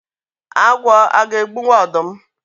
Agwọ aga egbunwu ọdụm?